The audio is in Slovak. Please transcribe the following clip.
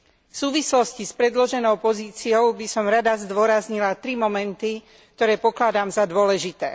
V súvislosti s predloženou pozíciou by som rada zdôraznila tri momenty, ktoré pokladám za dôležité.